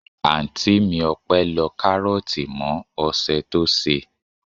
Anti mi Ope lọ karoti mọ ose tí ṣe.